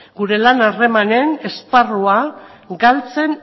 gure lan harremanen esparrua galtzen